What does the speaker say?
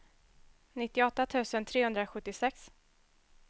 nittioåtta tusen trehundrasjuttiosex